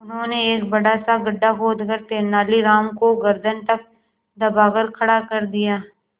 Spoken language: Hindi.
उन्होंने एक बड़ा सा गड्ढा खोदकर तेलानी राम को गर्दन तक दबाकर खड़ा कर दिया